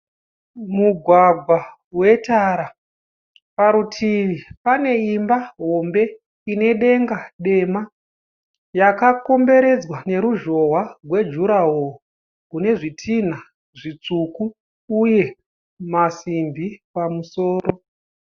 Mugwagwa wetara. Parutivi pane imba hombe ine denga dema. Yakakomberedzwa neruzhowa rwejuraho rune zvitinha zvitsvuku uye masimbi pamusoro.